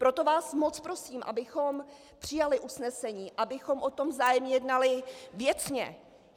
Proto vás moc prosím, abychom přijali usnesení, abychom o tom vzájemně jednali věcně.